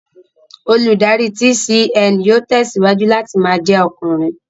Olùdarí TCN yóò tẹ̀síwájú láti ma jẹ́ ọkùnrin